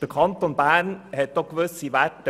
Der Kanton Bern hat auch gewisse Werte.